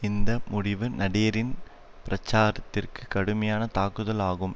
இந்த முடிவு நடேரின் பிரச்சாரத்திற்குக் கடுமையான தாக்குதல் ஆகும்